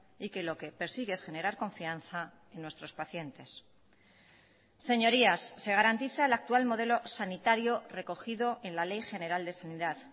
y que lo que persigue es generar confianza en nuestros pacientes señorías se garantiza el actual modelo sanitario recogido en la ley general de sanidad